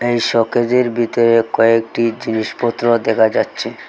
এই শোকেজের ভিতরে কয়েকটি জিনিসপত্র দেখা যাচ্ছে।